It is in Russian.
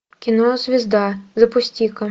кино звезда запусти ка